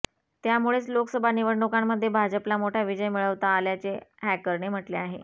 त्यामुळेच लोकसभा निवडणुकांमध्ये भाजपला मोठा विजय मिळवता आल्याचे हॅकरने म्हटले आहे